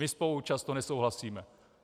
My spolu často nesouhlasíme.